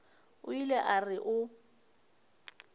o ile a re o